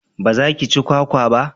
ba za ki ci kwakwa ba?